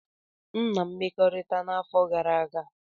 M na mmekọrịta n'afọ gara aga.